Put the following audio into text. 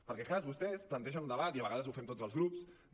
perquè clar vostès plantegen un debat i a vegades ho fem tots els grups de